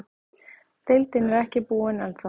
Deildin er ekki búinn ennþá.